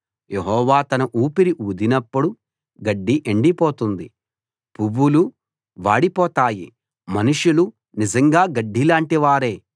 యెహోవా తన ఊపిరి ఊదినప్పుడు గడ్డి ఎండిపోతుంది పువ్వులు వాడిపోతారు మనుషులు నిజంగా గడ్డిలాంటివారే